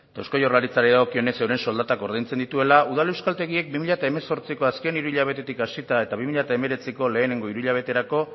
eta eusko jaurlaritzari dagokionez euren soldatak ordaintzen dituela udal euskaltegiek bi mila hemezortziko azken hiru hilabetetik hasita eta bi mila hemeretziko lehenengo hiru hilabeterako